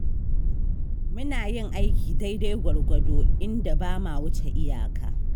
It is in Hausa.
Muna yin aiki daidai gwargwado, inda ba ma wuce iyaka.